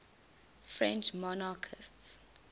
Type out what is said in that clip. french monarchists